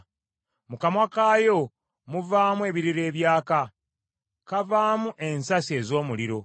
Mu kamwa kaayo muvaamu ebiriro ebyaka. Kavaamu ensasi ez’omuliro.